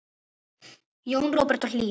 Jón Róbert og Hlíf.